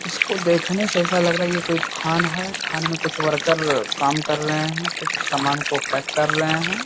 इसको देखने से ऐसा लग रहा ये कोई खान है खान में कुछ वर्कर काम कर रहे है कुछ सामान को पैक कर रहे है।